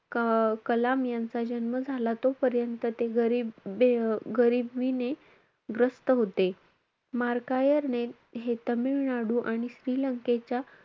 क~ कलाम यांचा जन्म झाला तोपर्यंत ते गरीब~ अं गरिबीने ग्रस्त होते. मार्कायर ने हे तामिळनाडू आणि श्रीलंकेच्या,